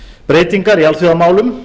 breytingar í alþjóðamálum